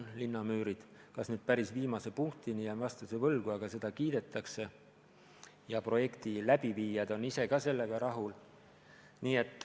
Kas ka linnamüürid päris viimase punktini, jään vastuse võlgu, aga seda kiidetakse ja projekti läbiviijad on ise ka sellega rahul.